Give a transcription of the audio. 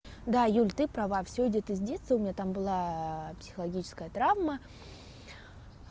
да юль ты права всё идёт из детства у меня там была психологическая травма